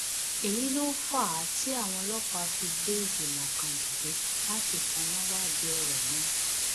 èyí ló fà á tí àwọn ọlọpàá fi gbé ìgbìmọ kan dìde láti tanná wádìí ọrọ náà